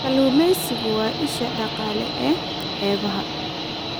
Kalluumaysigu waa isha dhaqaale ee xeebaha.